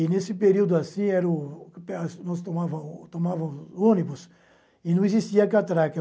E, nesse período assim, era nós tomávamos tomávamos ônibus e não existia catraca.